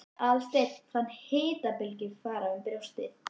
Aðalsteinn fann hitabylgju fara um brjóstið.